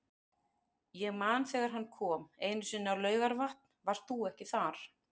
Ég man þegar hann kom einu sinni á Laugarvatn, varst þú ekki þar?